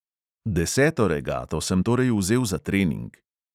Deseto regato sem torej vzel za trening.